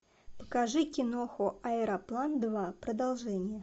покажи киноху аэроплан два продолжение